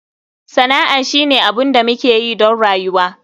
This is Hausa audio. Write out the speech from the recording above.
Sana'a shine abin da muke yi don rayuwa.